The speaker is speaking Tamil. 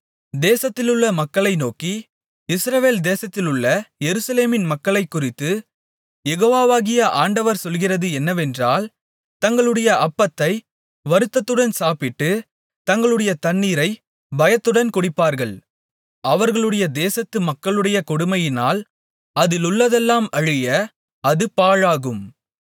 தேசத்திலுள்ள மக்ககளை நோக்கி இஸ்ரவேல் தேசத்திலுள்ள எருசலேமின் மக்களைக் குறித்துக் யெகோவாகிய ஆண்டவர் சொல்லுகிறது என்னவென்றால் தங்களுடைய அப்பத்தை வருத்தத்துடன் சாப்பிட்டு தங்களுடைய தண்ணீரைப் பயத்துடன் குடிப்பார்கள் அவர்களுடைய தேசத்துக் மக்களுடைய கொடுமையினால் அதிலுள்ளதெல்லாம் அழிய அது பாழாகும்